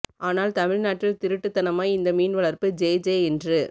ஆனால் தமிழ் நாட்டில் திருட்டுத் தனமாய் இந்த மீன் வளர்ப்பு ஜேஜே என்று